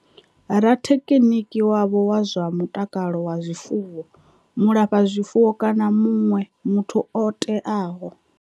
Rathekhiniki wavho wa zwa mutakalo wa zwifuwo, mulafha zwifuwo kana muṋwe muthu o teaho.